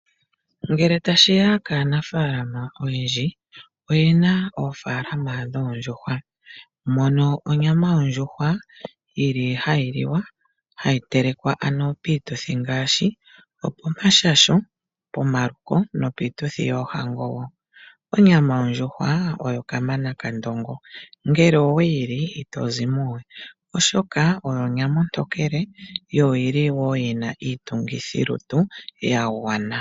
Ngele tashiya kaanafalama oyendji, oyena oofalama dhoondjuhwa, mono onyama yondjuhwa yili hayi liwa, hayi telekwa ano piituthi ngaashi opomashasho, pomaluko, nopiituthi yoohango wo. Onyama yondjuhwa oyo kamana kandongo, ngele oweyi li ito zimo we, oshoka oyo onyama ontokele yo oyili wo yina iitungithilutu ya gwana.